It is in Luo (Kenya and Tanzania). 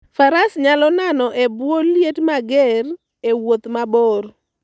Faras nyalo nano e bwo liet mager e wuoth mabor.